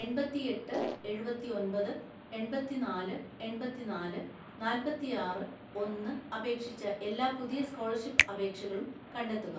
എണ്‍പത്തിഎട്ട് എഴുപത്തിഒന്‍പത് എണ്‍പത്തിനാല് എണ്‍പത്തിനാല് നാല്‍പത്തിആറ് ഒന്ന്, അപേക്ഷിച്ച എല്ലാ പുതിയ സ്കോളർഷിപ്പ് അപേക്ഷകളും കണ്ടെത്തുക.